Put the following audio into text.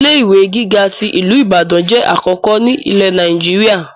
Ilé ìwé gíga tí ìlú Ìbàdàn jẹ́ àkọ́kọ́ ni ilẹ̀ Nàìjíríà.